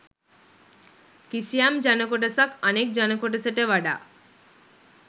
කිසියම් ජනකොටසක් අනෙක් ජනකොටසට වඩා